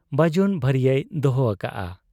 ᱵᱟᱹᱡᱩᱱ ᱵᱷᱟᱹᱨᱤᱭᱟᱹᱭ ᱫᱚᱦᱚ ᱟᱠᱟᱜ ᱟ ᱾